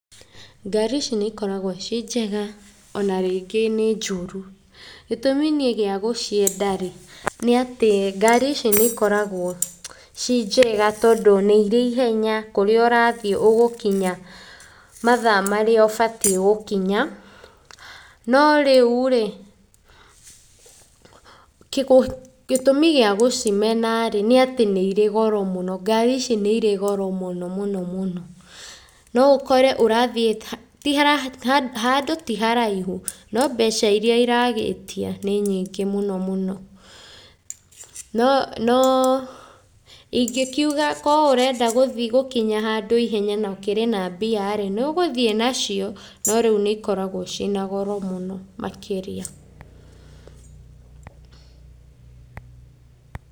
Ngari ici nĩ ikoragwo ciĩ njega ona rĩngĩ nĩ njũru. gĩtũmi niĩ gĩa gũcienda rĩ, nĩ atĩ ngari ici nĩ ikoragwo ci njega tondũ nĩ irĩ ihenya, kũrĩa ũrathiĩ ũgũkinya mathaa marĩa ũbatiĩ gũkinya. No rĩu rĩ, gĩtũmi gĩa gũcimena rĩ, nĩ atĩ nĩ irĩ goro mũno, ngari ici nĩ irĩ goro mũno mũno mũno. No ũkore ũrathiĩ handũ ti haraihu no mbeca iria iragĩtia nĩ nyingĩ mũno mũno. No ingĩkiuga korwo ũrenda gũthi gũkinya handũ ihenya na ũkĩrĩ na mbia rĩ, nĩ ũgũthi nacio no rĩu nĩ ikoragwo ciĩ na goro mũno makĩria.